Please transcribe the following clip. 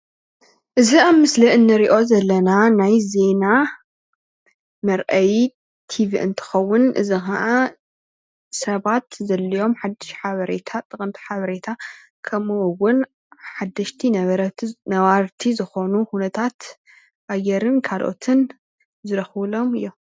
እዚ ኣብ ምስሊ ንሪኦ ዘለና ናይ ዜና መርኣዪ ቲቪ እንትከዉን እዚ ከዓ ሰባት ዘድልዮም ሓዱሽ ሓበሬታ ጠቀምቲ ሓበሬታ ከም'ኡ እዉን ሓደሽቲ ነበርቲ ዝኮኑ ኩነታት ኣየር ካልኦትን ዝረክብሎም እዮም።